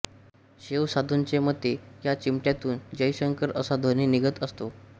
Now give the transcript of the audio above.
शैव साधूंच्या मते या चिमट्यातून जयशंकर असा ध्वनी निघत असतो